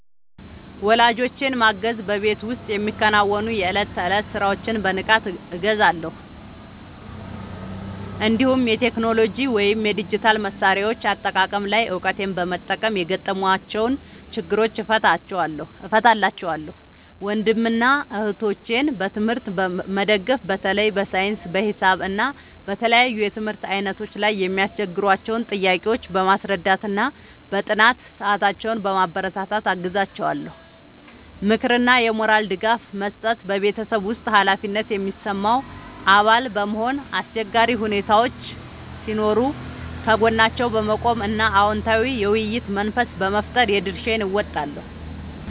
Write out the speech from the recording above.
ወላጆቼን ማገዝ በቤት ውስጥ የሚከናወኑ የዕለት ተዕለት ሥራዎችን በንቃት እገዛለሁ፤ እንዲሁም የቴክኖሎጂ ወይም የዲጂታል መሣሪያዎች አጠቃቀም ላይ እውቀቴን በመጠቀም የገጠሟቸውን ችግሮች እፈታላቸዋለሁ። ወንድምና እህቶቼን በትምህርት መደገፍ በተለይ በሳይንስ፣ በሂሳብ እና በተለያዩ የትምህርት ዓይነቶች ላይ የሚያስቸግሯቸውን ጥያቄዎች በማስረዳትና በጥናት ሰዓታቸው በማበረታታት አግዛቸዋለሁ። ምክርና የሞራል ድጋፍ መስጠት በቤተሰብ ውስጥ ኃላፊነት የሚሰማው አባል በመሆን፣ አስቸጋሪ ሁኔታዎች ሲኖሩ ከጎናቸው በመቆም እና አዎንታዊ የውይይት መንፈስ በመፍጠር የድርሻዬን እወጣለሁ።